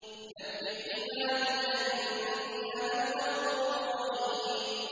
۞ نَبِّئْ عِبَادِي أَنِّي أَنَا الْغَفُورُ الرَّحِيمُ